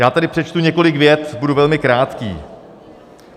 Já tady přečtu několik vět, budu velmi krátký.